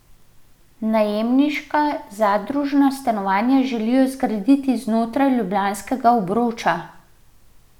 Najemniška zadružna stanovanja želijo zgraditi znotraj ljubljanskega obroča.